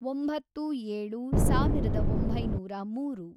ಒಂಬತ್ತು, ಏಳು, ಸಾವಿರದ ಒಂಬೈನೂರ ಮೂರು